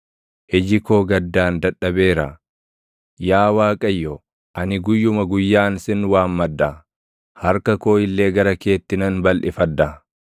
Iji koo gaddaan dadhabeera. Yaa Waaqayyo, ani guyyuma guyyaan sin waammadha; harka koo illee gara keetti nan balʼifadha.